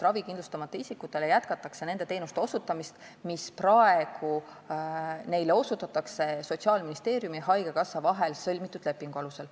Ravikindlustamata isikutele jätkatakse nende teenuste osutamist, mida neile praegu osutatakse Sotsiaalministeeriumi ja haigekassa vahel sõlmitud lepingu alusel.